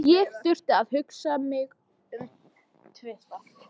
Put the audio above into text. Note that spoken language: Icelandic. Ég þurfti ekki að hugsa mig um tvisvar.